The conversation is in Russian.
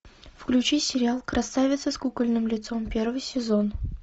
включи сериал красавица с кукольным лицом первый сезон